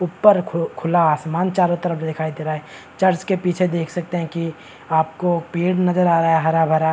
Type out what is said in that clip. ऊपर खु खुला आसमान चारो तरफ दिखाई दे रहा है चर्च के पीछे देख सकते है की आपको पेड़ नजर आ रहा है हरा-भरा।